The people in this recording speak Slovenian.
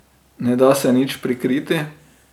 Ne da se nič prikriti.